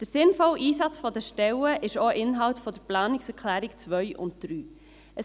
Der sinnvolle Einsatz der Stellen ist auch Inhalt der Planungserklärungen 2 und 3.